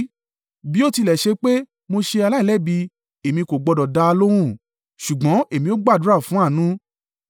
Bí ó tilẹ̀ ṣe pé mo ṣe aláìlẹ́bi, èmi kò gbọdọ̀ dá a lóhùn; ṣùgbọ́n èmi ó gbàdúrà fún àánú.